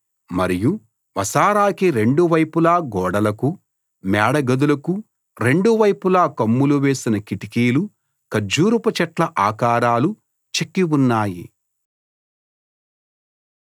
మరియు వసారాకి రెండు వైపులా గోడలకు మేడగదులకు రెండు వైపులా కమ్ములు వేసిన కిటికీలు ఖర్జూరపు చెట్ల ఆకారాలు చెక్కి ఉన్నాయి